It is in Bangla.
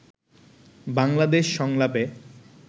বাংলাদেশ সংলাপে